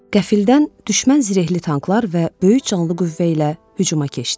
Qəfildən düşmən zirehli tanklar və böyük canlı qüvvə ilə hücuma keçdi.